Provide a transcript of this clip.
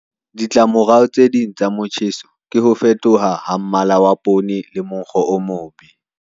Ditlamorao tse ding tsa motjheso ke ho fetoha ha mmala wa poone le monkgo o mobe.